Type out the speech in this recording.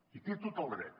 hi té tot el dret